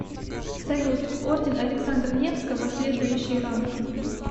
салют орден александра невского следующий ранг